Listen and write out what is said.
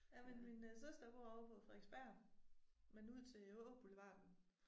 Jamen min øh søster bor ovre på Frederiksberg men ud til Åboulevarden